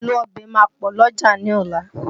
Èlò ọbẹ̀ máa pọ̀ l'ọ́jà ní ọ̀la